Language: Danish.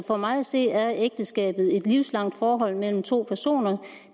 for mig at se er ægteskabet et livslangt forhold mellem to personer